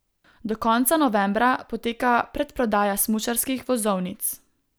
Do konca novembra poteka predprodaja smučarskih vozovnic.